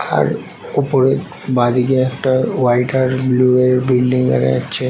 আর ওপরে বাদিকে একটা হোয়াইট আর ব্লু এর বিল্ডিং দেখা যাচ্ছে।